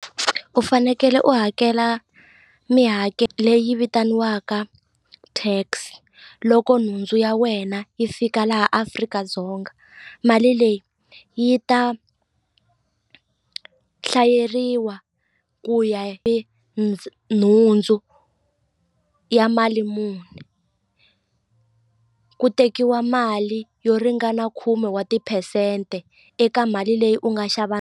U fanekele u hakela mihakelo leyi vitaniwaka tax loko nhundzu ya wena yi fika laha Afrika-Dzonga mali leyi yi ta hlayeriwa ku ya nhundzu ya mali muni ku tekiwa mali yo ringana khume wa tiphesente eka mali leyi u nga xava.